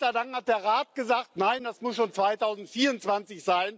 Gott sei Dank hat der Rat gesagt Nein, das muss schon 2024